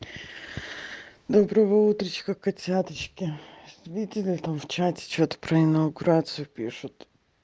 доброго утречка котяточки видели там в чате что-то про инаугурацию пишут